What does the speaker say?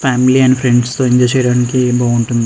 Family and friends తో enjoy చెయ్యడానికి బాగుంటుంది.